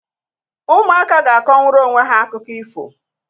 Ụmụaka ga-akọnwuru onwe ha akụkọ ifo.